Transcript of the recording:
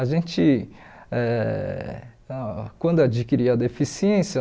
A gente, eh ah quando adquirir a deficiência,